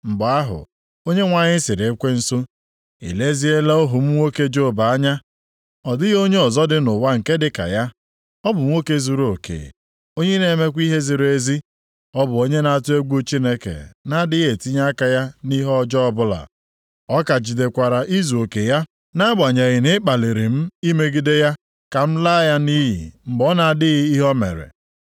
Mgbe ahụ, Onyenwe anyị sịrị ekwensu, “I leziela ohu m nwoke Job anya? Ọ dịghị onye ọzọ dị nʼụwa nke dịka ya. Ọ bụ nwoke zuruoke, onye na-emekwa ihe ziri ezi. Ọ bụ onye na-atụ egwu Chineke, na-adịghị etinye aka ya nʼihe ọjọọ ọbụla. Ọ ka jidekwara izuoke ya, nʼagbanyeghị na ị kpaliri m imegide ya ka m laa ya nʼiyi mgbe ọ na-adịghị ihe o mere.”